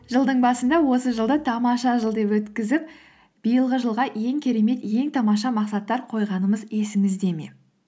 жылдың басында осы жылды тамаша жыл деп өткізіп биылғы жылға ең керемет ең тамаша мақсаттар қойғанымыз есіңізде ме